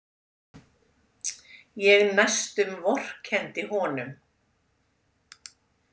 Ég næstum vorkenndi honum.